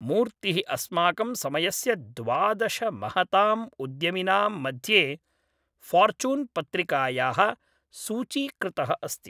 मूर्तिः अस्माकं समयस्य द्वादश महताम् उद्यमिनां मध्ये फॉर्च्यून् पत्रिकायाः ​​सूचीकृतः अस्ति ।